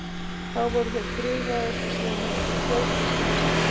Þá voru þeir friðaðir og síðan hefur þeim fjölgað smám saman.